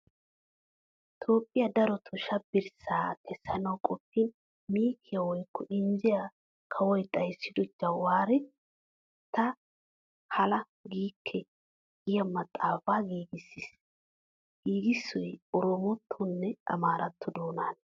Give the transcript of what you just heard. Toophphiyan daroto shabbirssaa kessanawu qoppin miikkiya woykko injjiya kawoy xayssido Jawaare ta hala giikke giya maxaafaa giigissiis. Giigissoy oroomotto nne amaaratto doonaana.